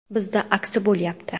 Bizda aksi bo‘lyapti.